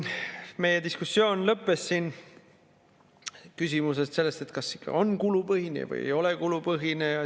Meie diskussioon lõppes siin küsimusega selle kohta, kas ikka on kulupõhine või ei ole kulupõhine.